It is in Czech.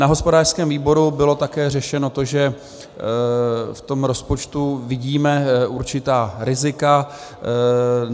Na hospodářském výboru bylo také řešeno to, že v tom rozpočtu vidíme určitá rizika.